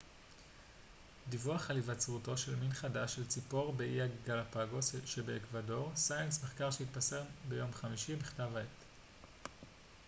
מחקר שהתפרסם ביום חמישי בכתב העת science דיווח על היווצרותו של מין חדש של ציפור באיי גלאפגוס שבאקוודור